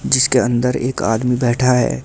जिसके अंदर एक आदमी बैठा है।